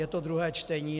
Je to druhé čtení.